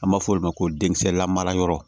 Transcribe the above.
An b'a f'o ma ko denkisɛ lamarayɔrɔ